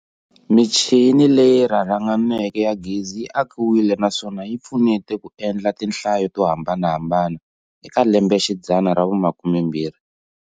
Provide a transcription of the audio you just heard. Michini leyi rharhanganeke ya gezi yi akiwile na swona yi pfunete ku endla tinhlayo to hambanahambana eka lembe xidzana ra vu 20.